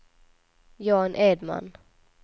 Jan Edman